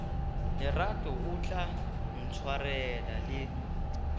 lerato o tla ntshwarela le